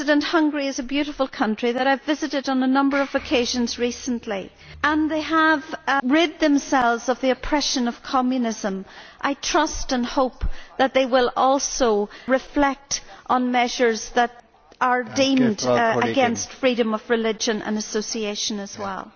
Hungary is a beautiful country that I have visited on a number of occasions recently and they have rid themselves of the oppression of Communism. I trust and hope that they will also reflect on measures which are deemed to be against freedom of religion and association as well.